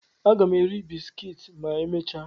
Aga m eri bisikiiti ma emechaa.